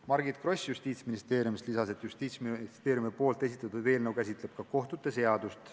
Margit Gross Justiitsministeeriumist lisas, et Justiitsministeeriumi esitatud eelnõu käsitleb ka kohtute seadust.